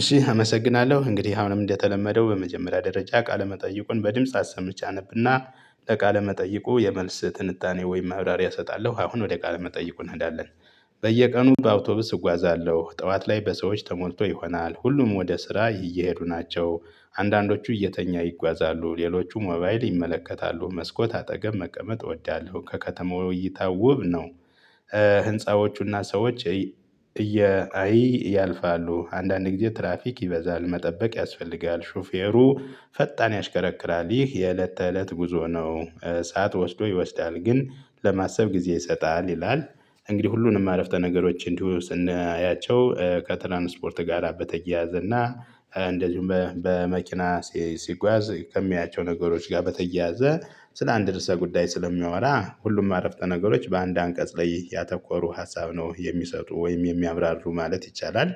እሺ አመሰግናለሁ እንግዲህ አሁንም እንደተለመደው በመጀመሪያ ደረጃ ቃለመጠይቁን በድምጽ አሰምቼ አነብና ለቃለ መጠይቁ የመልስ ትንታኔ ወይም ማብራሪያ እሰጣለሁ አሁን ወደ ቃል መጠይቁ እንሄዳለን። በየቀኑ በአውቶቡስ እጓዛለሁ ጠዋት ላይ በሰዎች ተሞልቶ ይሆናል ሁሉም ወደ ስራ እየሄዱ ናቸው አንዳንዶቹ እየተኛ ይጓዛሉ ሌሎቹ ሞባይል ይመለከታሉ መስኮት አጠገብ መቀመጥ እወዳለሁ ከከተማው እይታ ውብ ነው። ህንፃዎቹና ሰዎች እያይ ያልፋሉ አንዳንድ ጊዜ ትራፊክ ይበዛል መጠበቅ ያስፈልጋል ሹፌሩ ፈጣን ያሽከረክራል ይህ የእለት ተእለት ጉዞ ነው እሳት ወስዶ ይወስዳል ግን ለማሰብ ጊዜ ይሰጣል። ይላል እንግዲህ ሁሉንም አረፍተ ነገሮች እንዲሁ ስናያቸው ከትራንስፖርት ጋራ በተያያዘ እና እንደዚሁም በመኪና ሲጓዝ ከሚያያቸው ነገሮች ጋር በተያያዘ ስለ አንድ ርዕሰ ጉዳይ ስለሚያወራ ሁሉም አረፍተ ነገሮች በአንድ አንቀጽ ላይ ያተኮሩ ሀሳብ ነው የሚሰጡ ወይም የሚያብራሩ ማለት ይቻላል።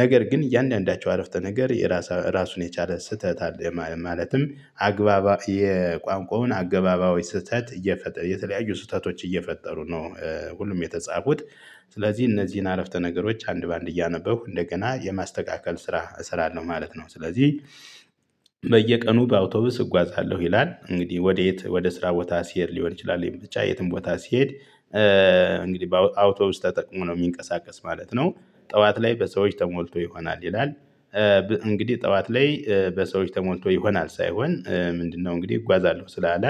ነገር ግን እያንዳንዳቸው አረፍተ ነገር የራሱን የቻለ ስህተት አለ ማለትም አግባባ የቋንቋውን አገባባዊ ስህተት እየፈጠሩ የተለያዩ ስህተቶች እየፈጠሩ ነው ሁሉም የተጻፉት ስለዚህ እነዚህን አረፍተ ነገሮች አንድ በአንድ እያነበሁ እንደገና የማስተካከል ስራ እሰራለሁ ማለት ነው። ስለዚህ በየቀኑ በአውቶቡስ እጓዛለሁ ይላል እንግዲህ ወዴት ወደ ስራ ቦታ ሲሄድ ሊሆን ይችላል የምት ብቻ የትም ቦታ ሲሄድ። እንግዲህ በአውቶቡስ ተጠቅሞ ነው የሚንቀሳቀስ ማለት ነው። ጠዋት ላይ በሰዎች ተሞልቶ ይሆናል ይላል እንግዲህ ጠዋት ላይ በሰዎች ተሞልቶ ይሆናል ሳይሆን ምንድነው እንግዲህ እጓዛለሁ ስላለ።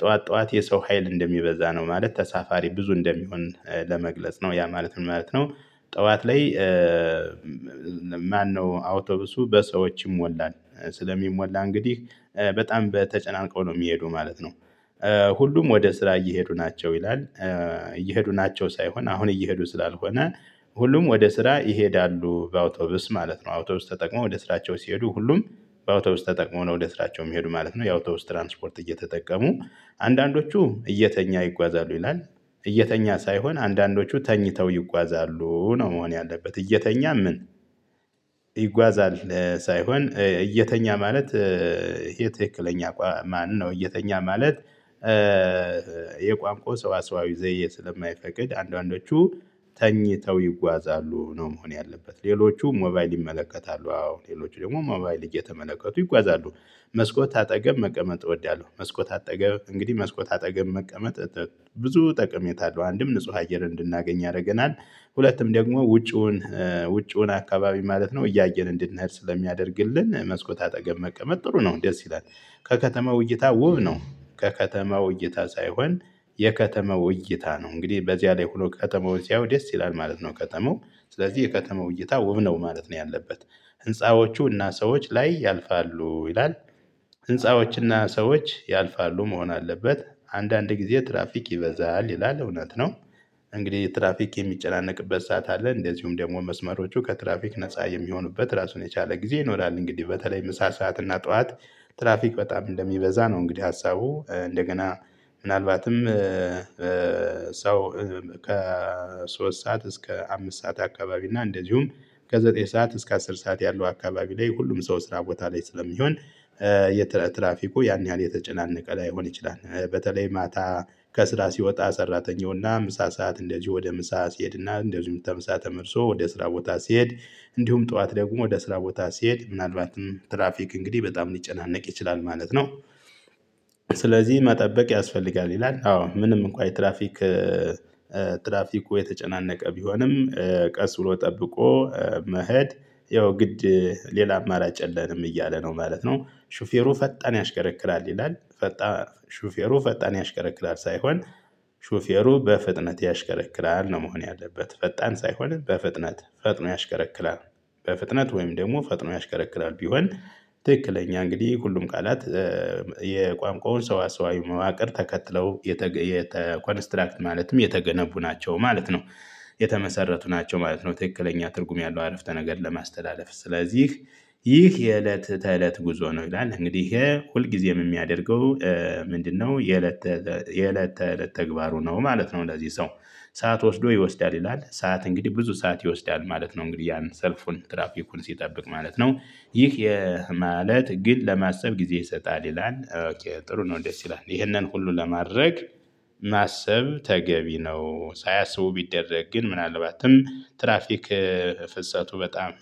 ጠዋት ጠዋት የሰው ሀይል እንደሚበዛ ነው ማለት ተሳፋሪ ብዙ እንደሚሆን ለመግለጽ ነው ያ ማለት ምን ማለት ነው? ጠዋት ላይ። ማነው አውቶብሱ በሰዎች ይሞላል። ስለሚሞላ እንግዲህ በጣም በተጨናንቀው ነው የሚሄዱ ማለት ነው። ሁሉም ወደ ስራ እየሄዱ ናቸው ይላል። እየሄዱ ናቸው ሳይሆን አሁን እየሄዱ ስላልሆነ ሁሉም ወደ ስራ ይሄዳሉ በአውቶብስ ማለት ነው። አውቶብስ ተጠቅሞ ወደ ስራቸው ሲሄዱ ሁሉም በአውቶብስ ተጠቅመው ነው ወደ ስራቸው የሚሄዱ ማለት ነው የአውቶብስ ትራንስፖርት እየተጠቀሙ አንዳንዶቹ እየተኛ ይጓዛሉ ይላል። እየተኛ ሳይሆን አንዳንዶቹ ተኝተው ይጓዛሉ ነው መሆን ያለበት እየተኛ ምን? ይጓዛል ሳይሆን እየተኛ ማለት። ይሄ ትክክለኛ ማነው እየተኛ ማለት? የቋንቋው ሰዋሰዋዊ ዘዬ ስለማይፈቅድ አንዳንዶቹ ተኝተው ይጓዛሉ ነው። መሆን ያለበት ሌሎቹ ሞባይል ይመለከታሉ አዎ ሌሎቹ ደግሞ ሞባይል እየተመለከቱ ይጓዛሉ። መስኮት አጠገብ መቀመጥ እወዳለሁ መስኮት አጠገብ እንግዲህ መስኮት አጠገብ መቀመጥ ብዙ ጠቅሜታ አለው አንድም ንጹህ አየር እንድናገኝ ያደርገናል። ሁለቱም ደግሞ ውጪውን ውጪውን አካባቢ ማለት ነው እያየን እንድንሄድ ስለሚያደርግልን መስኮት አጠገብ መቀመጥ ጥሩ ነው ደስ ይላል። ከከተማው እይታ ውብ ነው ከከተማው እይታ ሳይሆን የከተማው እይታ ነው እንግዲህ በዚያ ላይ ሆኖ ከተማውን ሲያየው ደስ ይላል ማለት ነው። ከተማው ስለዚህ የከተማው እይታ ውብ ነው ማለት ነው ያለበት። ህንፃዎቹ እና ሰዎች ላይ ያልፋሉ ይላል። ህንፃዎችና ሰዎች ያልፋሉ መሆን አለበት። አንዳንድ ጊዜ ትራፊክ ይበዛል ይላል እውነት ነው። እንግዲህ ትራፊክ የሚጨናነቅበት ሰዓት አለ እንደዚሁም ደግሞ መስመሮቹ ከትራፊክ ነፃ የሚሆኑበት ራሱን የቻለ ጊዜ ይኖራል እንግዲህ በተለይ ምሳ ሰዓት እና ጠዋት ትራፊክ በጣም እንደሚበዛ ነው። እንግዲህ ሀሳቡ እንደገና ምናልባትም ሰው ከ ከሶስት ሰዓት እስከ አምስት ሰዓት አካባቢ እና እንደዚሁም ከዘጠኝ ሰዓት እስከ አስር ሰዓት ያለው አካባቢ ላይ ሁሉም ሰው ስራ ቦታ ላይ ስለሚሆን። የትራፊኩ ያን ያህል የተጨናነቀ ላይሆን ይችላል። በተለይ ማታ ከስራ ሲወጣ ሰራተኛውና ምሳ ሰዓት እንደዚህ ወደ ምሳ ሲሄድና እንደዚህ ተምሳ ተመርሶ ወደ ስራ ቦታ ሲሄድ እንዲሁም ጠዋት ደግሞ ወደ ስራ ቦታ ሲሄድ ምናልባትም ትራፊክ እንግዲህ በጣም ሊጨናነቅ ይችላል ማለት ነው። ስለዚህ መጠበቅ ያስፈልጋል ይላል። አዎ ምንም እንኳን የትራፊክ ትራፊኩ የተጨናነቀ ቢሆንም ቀስ ብሎ ጠብቆ መሄድ ያው ግድ ሌላ አማራጭ የለንም እያለ ነው ማለት ነው። ሹፌሩ ፈጣን ያሽከረክራል ይላል ፈጣን ሹፌሩ ፈጣን ያሽከረክራል ሳይሆን ሹፌሩ በፍጥነት ያሽከረክራል ነው። መሆን ያለበት ፈጣን ሳይሆን በፍጥነት ፈጥኖ ያሽከረክላል። በፍጥነት ወይም ደግሞ ፈጥኖ ያሽከረክላል ቢሆን ትክክለኛ እንግዲህ ሁሉም ቃላት የቋንቋውን ሰዋሰዋዊ መዋቅር ተከትለው የተ ኮንስትራክት ማለትም የተገነቡ ናቸው ማለት ነው። የተመሰረቱ ናቸው ማለት ነው ትክክለኛ ትርጉም ያለው አረፍተ ነገር ለማስተላለፍ ስለዚህ። ይህ የእለት ተእለት ጉዞ ነው። ይላል እንግዲህ ይሄ ሁልጊዜም የሚያደርገው ምንድነው? የለት የእለት ተእለት ተግባሩ ነው ማለት ነው። ለዚህ ሰው ሰዓት ወስዶ ይወስዳል ይላል። ሰዓት እንግዲህ ብዙ ሰዓት ይወስዳል ማለት ነው። እንግዲህ ያን ሰልፉን ትራፊኩን ሲጠብቅ ማለት ነው። ይህ ማለት ግን ለማሰብ ጊዜ ይሰጣል ይላል። ጥሩ ነው ደስ ይላል። ይሄንን ሁሉ ለማድረግ ማሰብ ተገቢ ነው። ሳያስቡ ቢደረግ ግን ምናልባትም ትራፊክ ፍሰቱ በጣም